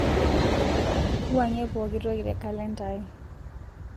wuangie pooki toki te kalenda aai